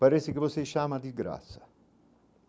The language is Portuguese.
parece que você chama de graça.